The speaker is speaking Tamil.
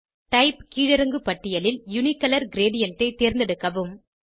டைப் கீழிறங்கு பட்டியலில் யூனிகலர் கிரேடியன்ட் ஐ தேர்ந்தெடுக்கவும்